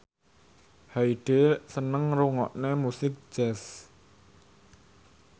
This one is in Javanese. Hyde seneng ngrungokne musik jazz